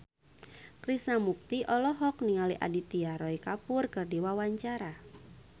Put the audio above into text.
Krishna Mukti olohok ningali Aditya Roy Kapoor keur diwawancara